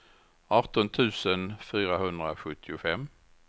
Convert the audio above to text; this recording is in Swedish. arton tusen fyrahundrasjuttiofem